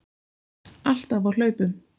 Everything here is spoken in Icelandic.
Alltaf á hlaupum.